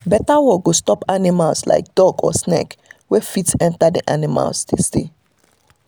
better wall go stop animals like dog or snake wey fit enter wey the animals dey stay